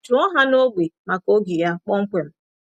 Jụọ ha n’ógbè maka oge ya kpọmkwem.